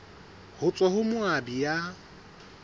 ho tswa ho moabi ya